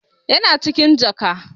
Yana cikin jaka.